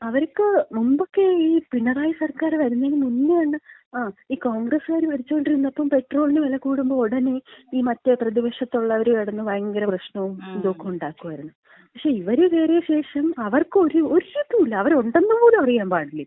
അവര്ക്ക് മുമ്പെക്കെ ഈ പിണറായി സർക്കാര് വരുന്നേന് മുന്നേ, ആ ഈ കോൺഗ്രസ്കാര് ഭരിച്ചോണ്ടിരുന്നപ്പോ ഈ പെട്രോളിന് വില കൂടുമ്പോ ഉടനെ ഈ മറ്റേ പ്രതിപക്ഷത്തുള്ളോര് കെടന്ന് ഭയങ്കര പ്രശ്നോം ഇതൊക്കെ ഉണ്ടാക്കുവാരുന്നു. പക്ഷേ, ഇവര് കേറിയ ശേഷം അവർക്ക് ഒരിതും ഇല്ല. അവര് ഉണ്ടെന്ന് പോലും അറിയാൻ പാടില്ല ഇപ്പൊ.